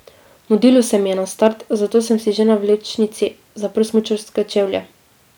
Mudilo se mi je na start, zato sem si že na vlečnici zaprl smučarske čevlje.